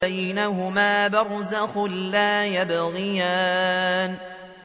بَيْنَهُمَا بَرْزَخٌ لَّا يَبْغِيَانِ